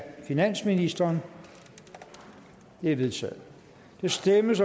finansministeren det er vedtaget der stemmes